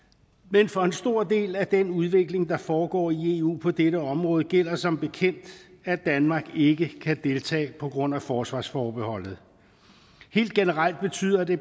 men for en stor del af den udvikling der foregår i eu på dette område gælder som bekendt at danmark ikke kan deltage på grund af forsvarsforbeholdet helt generelt betyder det